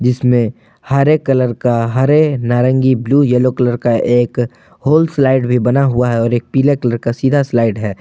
इसमें हरे कलर का हरे नारंगी ब्लू येलो कलर का एक होल स्लाइड भी बना हुआ है और एक पीला कलर का सीधा स्लाइड है।